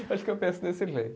Acho que eu penso desse jeito.